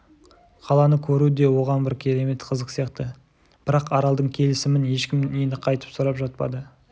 қаланы көру де оған бір керемет қызық сияқты бірақ аралдың келісімін ешкім енді қайтып сұрап жатпады